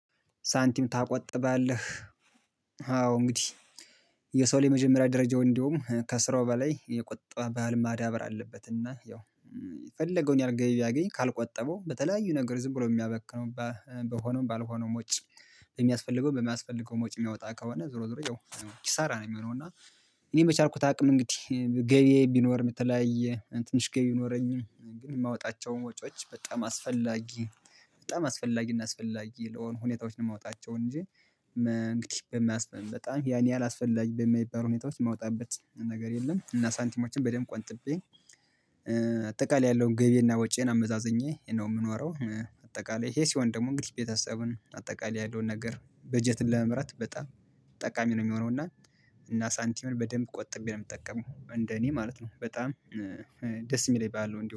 ሳንቲም ታቆጥባለህ? አዎ እንግዲህ የሰው ላይ የመጀመሪያ ደረጃው እንዲሁም ከስራው በላይ የቁጠባ ባህል ማዳበር አለበት። እና ያው የፈለገውን ያህል ገቢ ቢያገኝ ካልቆጠበው በተለያዩ ነገር ዝም ብሎ የሚያበክነው በሆነው ባልሆነው ወጭ የሚያስፈልገው በማያስፈልገውም ወጭ የሚያወጣ ከሆነ ዞሮ ዞሮ ያው ኪሳራ ነው የሚሆነው። እና እኔም በቻልኩት አቅም እንግዲህ ገቢየ ቢኖርም የተለያየ ትንሽ ገቢ ቢኖረኝም የማወጣቸውን ወጪዎች በጣም አስፈላጊ በጣም አስፈላጊና አስፈላጊ ለሆነ ሁኔታዎችን የማወጣቸውን እንጂ እንግዲህ በማስፈልግ በጣም ያን ያህል አስፈላጊ በማይባል ሁኔታዎች የማውጣበት ነገር የለም። እና ሳንቲሞችን በደንብ ቆንጥቤ አጠቃላይ ያለውን ገቢየና ወጪን አመዛዘኛዬ ነው የምኖረው። አጠቃላይ ይሄ ሲሆን ደግሞ እንግዲህ ቤተሰብን አጠቃላይ ያለውን ነገር በጀት ለመምራት በጣም ጠቃሚ ነው የሚሆነው። እና እና ሳንቲሙን በደንብ ቆጥቤ ነው የምጠቀመው እንደ እኔ ማለት ነው። በጣም ደስ የሚለኝ ባህል ነው እንዲሁም